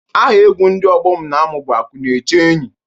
Aha egwu ndị ọgbọ m na-amụ bụ Akụ na-eche enyi.